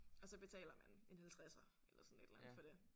Og så betaler man en halvtredser eller sådan et eller andet for det